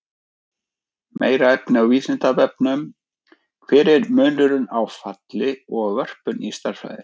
Meira efni á Vísindavefnum: Hver er munurinn á falli og vörpun í stærðfræði?